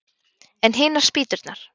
En hinar spýturnar?